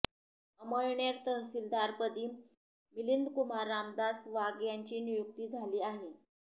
अमळनेर तहसीलदारपदी मिलिंदकुमार रामदास वाघ यांची नियुक्ती झाली आहे